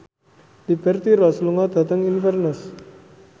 Liberty Ross lunga dhateng Inverness